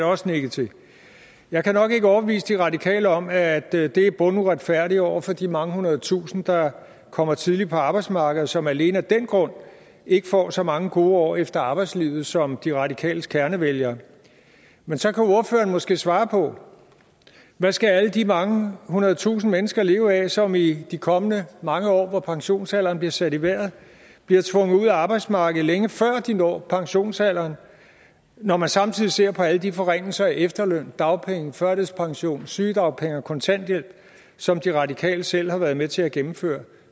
også nikket til jeg kan nok ikke overbevise de radikale om at det det er bunduretfærdigt over for de mange hundrede tusinde der kommer tidligt på arbejdsmarkedet og som alene af den grund ikke får så mange gode år efter arbejdslivet som de radikales kernevælgere men så kan ordføreren måske svare på hvad skal alle de mange hundrede tusinde mennesker leve af som i de kommende mange år hvor pensionsalderen bliver sat i vejret bliver tvunget ud af arbejdsmarkedet længe før de når pensionsalderen når man samtidig ser på alle de forringelser af efterløn dagpenge førtidspension sygedagpenge og kontanthjælp som de radikale selv har været med til at gennemføre